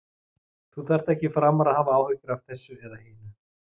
Þú þarft ekki framar að hafa áhyggjur af þessu eða hinu.